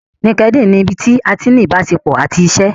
Linkedin ni ibí tí a ti ní ni ìbáṣepọ̀ àti iṣé.